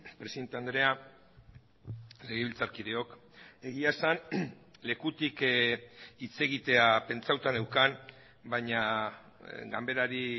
presidente andrea legebiltzarkideok egia esan lekutik hitz egitea pentsatuta neukan baina ganberari